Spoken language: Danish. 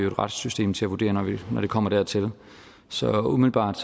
retssystem til at vurdere når det kommer dertil så umiddelbart